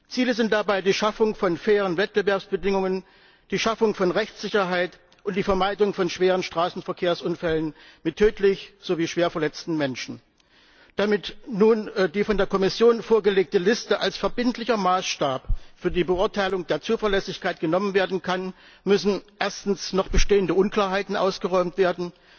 Ziele sind dabei die Schaffung von fairen Wettbewerbsbedingungen, die Schaffung von Rechtssicherheit und die Vermeidung von schweren Straßenverkehrsunfällen mit tödlich sowie schwer verletzen Menschen. Damit nun die von der Kommission vorgelegte Liste als verbindlicher Maßstab für die Beurteilung der Zuverlässigkeit genommen werden kann, müssen erstens noch bestehende Unklarheiten ausgeräumt werden,